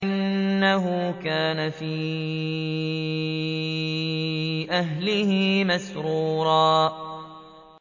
إِنَّهُ كَانَ فِي أَهْلِهِ مَسْرُورًا